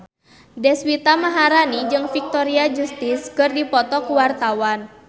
Deswita Maharani jeung Victoria Justice keur dipoto ku wartawan